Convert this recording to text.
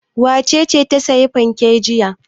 Wace ce ta sayi fanke jiya?